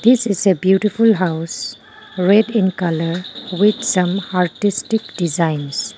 this is a beautiful house red in colour with some artistic designs.